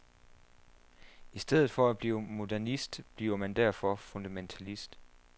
I stedet for at blive modernist bliver man derfor fundamentalist.